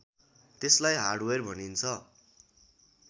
त्यसलाई हार्डवेयर भनिन्छ